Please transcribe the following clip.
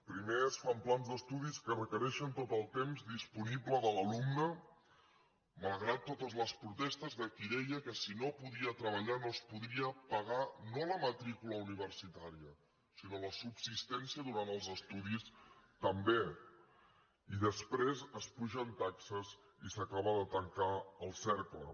primer es fan plans d’estudis que requereixen tot el temps disponible de l’alumne malgrat totes les protestes de qui deia que si no podia treballar no es podria pagar no la matrícula universitària sinó la subsistència durant els estudis també i després s’apugen taxes i s’acaba de tancar el cercle